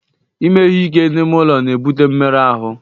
Ime ihe ike n'ime ụlọ na-ebute mmerụ ahụ.